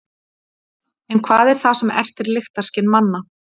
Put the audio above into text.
en hvað er það sem ertir lyktarskyn manna